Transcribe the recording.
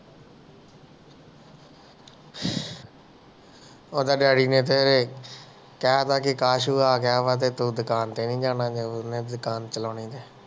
ਓਹਦਾ ਦੀਵਾਲੀ ਲਗੇ ਘਰ ਲਗੇ ਅਕਾਸ਼ ਤੂੰ ਆ ਗਿਆ ਵਾ ਤੇ ਦੁਕਾਨ ਤੇ ਨਹੀਂ ਜਾਣਾ ਵਾ ਦੁਕਾਨ ਚਲਾਉਣੀ ਆ